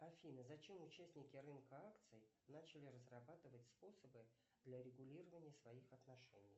афина зачем участники рынка акций начали разрабатывать способы для регулирования своих отношений